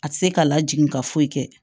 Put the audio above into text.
A tɛ se k'a lajigin ka foyi kɛ